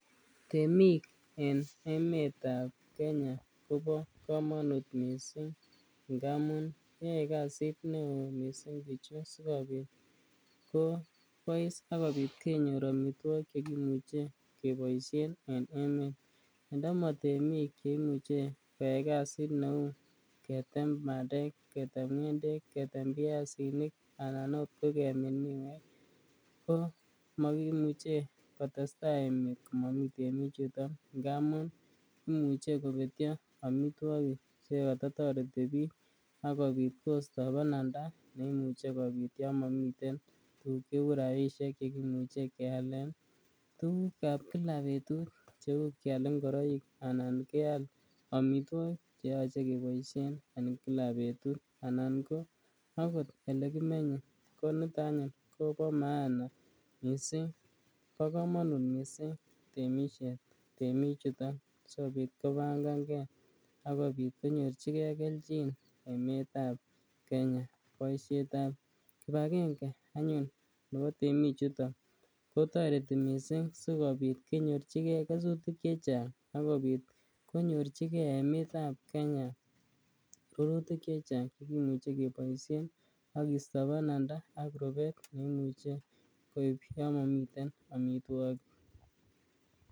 Temik en emetab Kenya kobokmonut mising ngamun yoe kasit neo mising bichu sikobit kobois sikobit kenyor amitwokik chekimuche keboishen en emet, ndomo temik cheimuche koyai kasit neuu ketem bandek, ketem ngendek, ketem biasinik anan oot ko kemin miwek ko mokimuche kotesta komomi temichuton ngamun imuche kobetio amitwokik chekoto toreti biik ak kobit kosto bananda neimuche kobit yoon momiten tukuk cheu rabishek chekimuche kealen tukukab kila betut cheu kial imgoroik anan kial amitwokik cheyoche keboishen en kila betut anan ko akot olekimenye koniton anyun kobo maana mising, bokomonut mising temishet temichuton sikobit kobangange akobit konyorchike kelchin emetab Kenya, boishetab kibakenge anyun nebo temichuton kotoreti mising sikobit konyorchike kesutik chechang ak kobit konyorchike emetab Kenya rurutik chechang chekimuche keboishen ak kisto bananda ak rubet neimuche koib yoon momiten amitwokik.